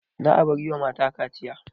Za'a bar yiwa mata kaciya